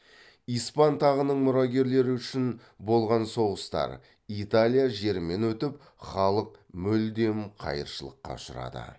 испан тағының мұрагерлігі үшін болған соғыстар италия жерімен өтіп халық мүлдем қайыршылыққа ұшырады